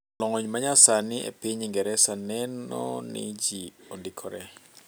Lony manyasani epiny Ingereza neno ni ji ondikore.